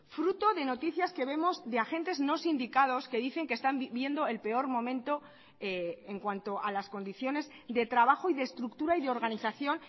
fruto de noticias que vemos de agentes no sindicados que dicen que están viviendo el peor momento en cuanto a las condiciones de trabajo y de estructura y de organización